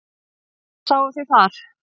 Hvað sáuð þið þar?